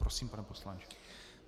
Prosím, pane poslanče.